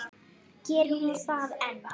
Gerir hún það enn?